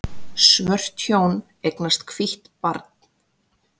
Svört hjón eignast hvítt barn